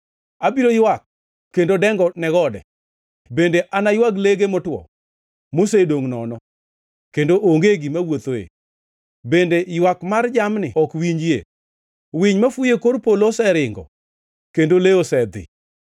Abiro ywak kendo dengo ne gode bende anaywag lege motwo, mosedongʼ nono, kendo onge gima wuothoe, bende ywak mar jamni ok winjie. Winy mafuyo e kor polo oseringo, kendo le osedhi.